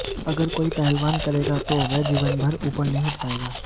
अगर कोई पहलवान करेगा तो वह जीवन भर ऊपर नहीं उठ पायेगा